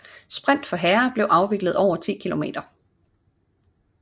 Sprint for herrer bliver afviklet over 10 km